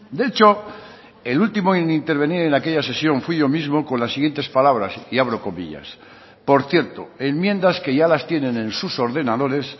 de hecho el último en intervenir en aquella sesión fui yo mismo con las siguientes palabras y abro comillas por cierto enmiendas que ya las tienen en sus ordenadores